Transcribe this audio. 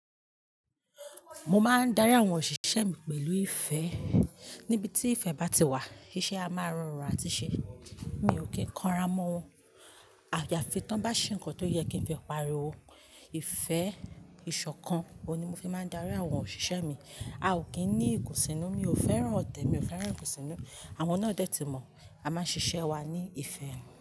Mo máa ń darí àwọn òṣìṣẹ́ mi pẹ̀lú ìfẹ́. Nibiti ìfẹ́ bá ti wà, iṣẹ́ a máa rọrùn àti ṣe. Mi ò kí ń kanra mọ́ wọn. Àyàfi tí wọ́n bá ṣe nǹkan tó yẹ kí n fi pariwo. Ìfẹ́, ìṣọ̀kan, òun ni mo fi máa ń darí àwọn òṣìṣẹ́ mi. A ò kí ń ní ìkùnsínú, mi ò fẹ́ràn ọ̀tẹ̀, mi ò fẹ́ràn ìkùnsínú. Àwọn náà dẹ́ ti mọ̀. A máa ń ṣiṣẹ́ wa ní ìfẹ́